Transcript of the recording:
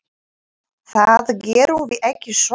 Það gerum við ekki svona.